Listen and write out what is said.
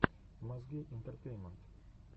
мозги интертеймент